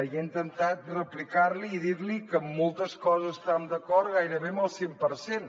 i he intentat replicar li i dir li que en moltes coses estàvem d’acord gairebé en el cent per cent